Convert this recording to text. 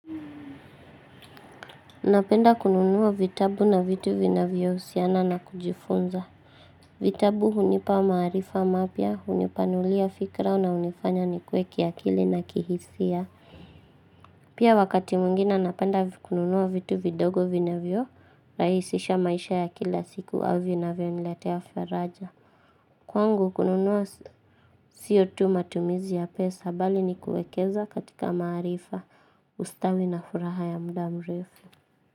Napenda kununua vitabu na vitu vinavyo husiana na kujifunza. Vitabu hunipa maarifa mapya, hunipanulia fikra na hunifanya nikue kiakili na kihisia. Pia wakati mwingine napenda kununua vitu vidogo vinavyo, rahisisha maisha ya kila siku au vinavyonilatea faraja. Kwangu kununua sio tu matumizi ya pesa bali ni kuekeza katika maarifa, ustawi na furaha ya muda mrefu.